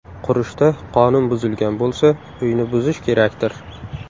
Qurishda qonun buzilgan bo‘lsa, uyni buzish kerakdir?